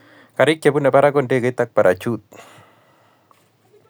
karik che bune barak ko ndegeit ak parachutit